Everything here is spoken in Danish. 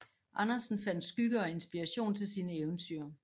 Andersen fandt skygge og inspiration til sine eventyr